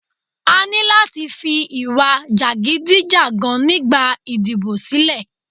A ní láti fi ìwà jàgídíjàgan nígbà ìdìbò sílẹ̀.